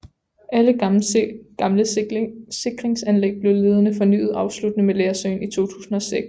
Alle gamle sikringsanlæg blev senere fornyet afsluttende med Lersøen i 2006